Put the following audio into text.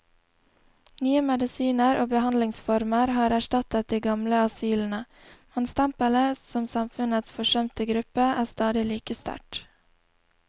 Nye medisiner og behandlingsformer har erstattet de gamle asylene, men stempelet som samfunnets forsømte gruppe er stadig like sterkt.